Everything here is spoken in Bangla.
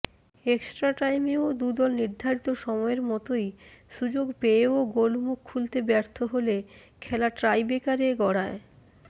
এক্সট্রা টাইমেও দুদল নির্ধারিত সময়ের মতোই সুযোগ পেয়েও গোলমুখ খুলতে ব্যর্থ হলে খেলা টাইব্রেকারে গড়ায়